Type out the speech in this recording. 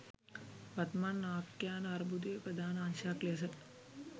වත්මන් ආඛ්‍යාන අර්බුදයේ ප්‍රධාන අංශයක් ලෙස